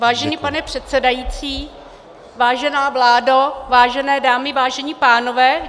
Vážený pane předsedající, vážená vládo, vážené dámy, vážení pánové.